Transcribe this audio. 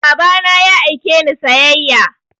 Baba na ya aike ni sayayya